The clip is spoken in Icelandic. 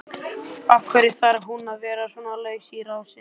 Af hverju þarf hún að vera svona laus í rásinni?